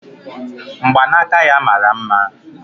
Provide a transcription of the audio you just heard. Mgbanaka ya mara mma